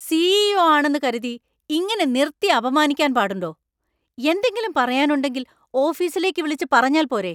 C. E. O ആണെന്ന് കരുതി ഇങ്ങനെ നിർത്തി അപമാനിക്കാൻ പാടുണ്ടോ; എന്തെങ്കിലും പറയാനുണ്ടെങ്കിൽ ഓഫീസിലേക്ക് വിളിച്ച് പറഞ്ഞാൽ പോരെ.